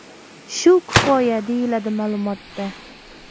Shu kifoya”, deyiladi ma’lumotda.